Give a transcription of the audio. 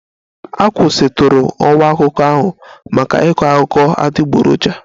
A kwụsịtụrụ ọwa akụkọ ahụ maka ịkọ akụkọ adịgboroja